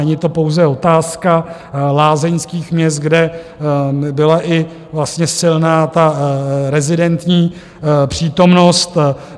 Není to pouze otázka lázeňských měst, kde byla i vlastně silná ta rezidentní přítomnost.